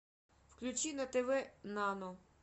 включи на тв нано